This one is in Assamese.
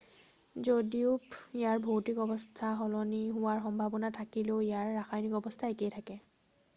যদিও ইয়াৰ ভৌতিক অৱস্থা সলনি হোৱাৰ সম্ভাৱনা থাকিলেও ইয়াৰ ৰাসায়নিক অৱস্থা একেই থাকে